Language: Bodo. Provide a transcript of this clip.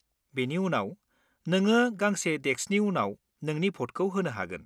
बेनि उनाव, नोङो गंसे डेस्कनि उनाव नोंनि भटखौ होनो हागोन।